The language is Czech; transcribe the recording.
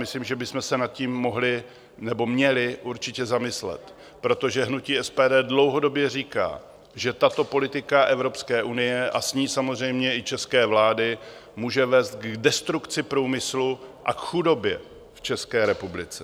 Myslím, že bychom se nad tím mohli nebo měli určitě zamyslet, protože hnutí SPD dlouhodobě říká, že tato politika Evropské unie a s ní samozřejmě i české vlády může vést k destrukci průmyslu a k chudobě v České republice.